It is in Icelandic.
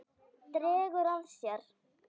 Dregur að sér.